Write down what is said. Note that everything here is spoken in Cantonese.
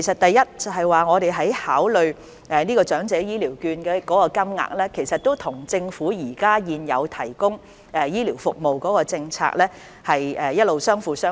第一，我們就長者醫療券金額所作的考慮，其實一直與政府現行的醫療服務政策相輔相成。